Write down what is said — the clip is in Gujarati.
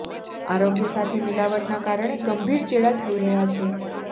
આરોગ્ય સાથે મિલાવટના કારણે ગંભીર ચેડા થઇ રહ્યા છે